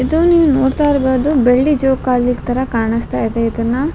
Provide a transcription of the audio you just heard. ಇದು ನೀವ್ ನೋಡ್ತಾ ಇರ್ಬೋದು ಬೆಳ್ಳಿ ಜೋಕಾಲಿ ತರ ಕಾಣಿಸ್ತಾ ಇದೆ ಇದನ್ನ --